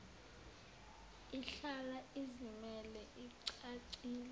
ihlala izimele icacile